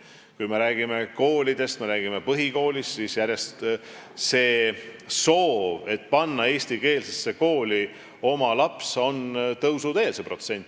Kui me räägime koolidest, kui me räägime põhikoolist, siis soov panna oma laps eestikeelsesse kooli on järjest enam tõusuteel.